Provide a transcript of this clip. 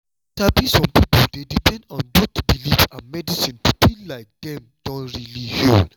you sabi some pipo dey depend on both belief and medicine to feel like dem don really heal.